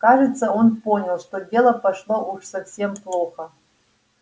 кажется он понял что дело пошло уж совсем плохо